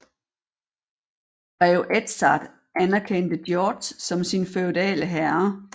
Grev Edzard anerkendte George som sin feudale herre